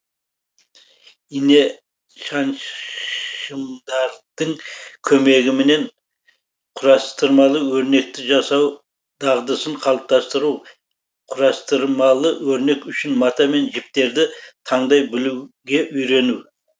инешаншымдардың көмегіменен құрастырмалы өрнекті жасау дағдысын қалыптастыру құрастырмалы өрнек үшін мата мен жіптерді таңдай білуге үйрену